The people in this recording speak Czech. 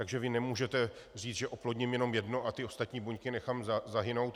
Takže vy nemůžete říct, že oplodním jenom jedno a ty ostatní buňky nechám zahynout.